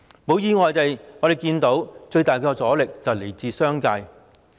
一如意料，最大的阻力來自商界。